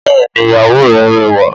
Bẹ́ẹ̀ni ìyàwó rẹ rẹwa